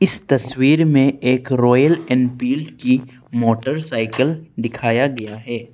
इस तस्वीर में एक रॉयल एनफील्ड की मोटरसाइकिल दिखाया गया है।